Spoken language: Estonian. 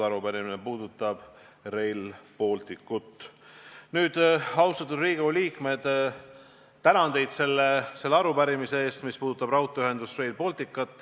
Arupärimine puudutab Rail Balticut.